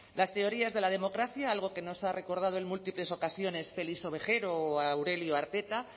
las teorías de la democracia algo que nos ha recordado en múltiples ocasiones félix ovejero o aurelio arteta